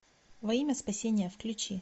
во имя спасения включи